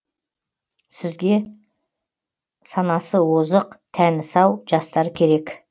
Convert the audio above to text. сізге санасы озық тәні сау жастар керек